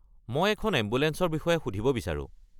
মই এখন এম্বুলেঞ্চৰ বিষয়ে সুধিব বিচাৰো।